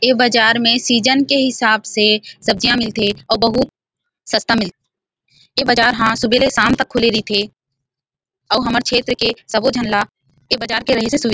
ये बाजार में सीजन के हिसाब से सब्जियाँ मिलथे और बहुत सस्ता मिलथे ये बाजार हा सुबेरे- शाम तक खुले रईथे औउ हमर क्षॆत्र के सबो झन ल ए बाजार के रेहे से सुविधा --